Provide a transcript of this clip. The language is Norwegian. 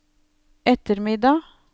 ettermiddag